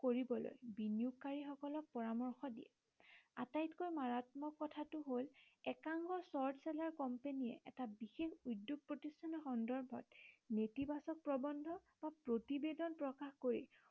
কৰিবলৈ বিনিয়োগকাৰী সকলক পৰামৰ্শ দিয়ে। আটাইতকৈ মাৰাত্মক কথাটো হল একাংশ short seller company য়ে এটা বিশেষ উদ্য়োগ প্ৰতিষ্ঠানৰ সন্দৰ্ভত নেতিবাচক প্ৰবন্ধ বা প্ৰতিৱেদন প্ৰকাশ কৰি